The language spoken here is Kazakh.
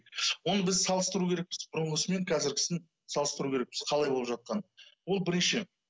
оны біз салыстыру керекпіз бұрынғысы мен қазіргісін салыстыру керекпіз қалай болып жатқанын ол бірінші